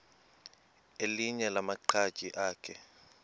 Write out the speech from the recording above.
elinye lamaqhaji akhe